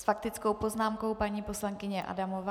S faktickou poznámkou paní poslankyně Adamová.